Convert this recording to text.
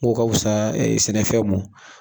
Ko ka wusa sɛnɛfɛnw ma.